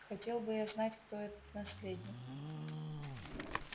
хотел бы я знать кто этот наследник